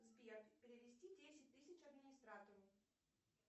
сбер перевести десять тысяч администратору